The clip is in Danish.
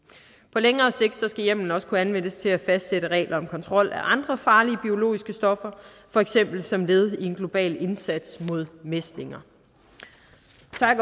på længere sigt skal hjemmelen også kunne anvendes til at fastsætte regler om kontrol af andre farlige biologiske stoffer for eksempel som led i en global indsats mod mæslinger